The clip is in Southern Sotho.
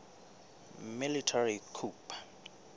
military coup